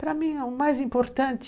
Para mim, o mais importante